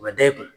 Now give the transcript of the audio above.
U bɛ da i kun